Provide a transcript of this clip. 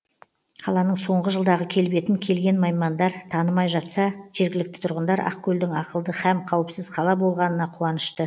қаланың соңғы жылдағы келбетін келген маймандар танымай жатса жергілікті тұрғындар ақкөлдің ақылды һәм қауіпсіз қала болғанына қуанышты